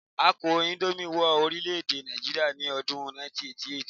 A kó índómì wọ orílè-èdè Nàìjíríà ní ọdún 1988